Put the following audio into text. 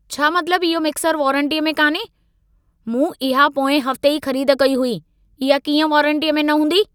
छा मतलबु, इहो मिक्सरु वारंटीअ में कान्हे? मूं इहा पोएं हफ्ते ई ख़रीद कई हुई। इहा कीअं वारंटीअ में न हूंदी?